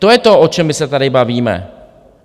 To je to, o čem my se tady bavíme.